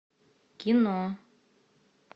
кино